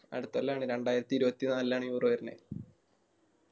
അടുത്തോല്ലാണ് രണ്ടായിരത്തി ഇരുപത്തിനാലിലാണ് Euro വരുണെ